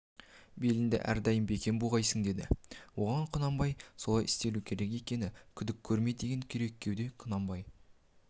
беліңді әрдайым бекем буғайсың деді оған құнанбай солай істелу керек оны күдік көрме деген керекуде құнанбай